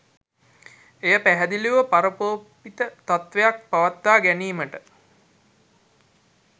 එය පැහැදිලිව පරාරෝපිත තත්ත්වයක් පවත්වා ගැනීමට